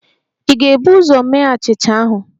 Ị ga-ebu ụzọ mee achịcha ahụ?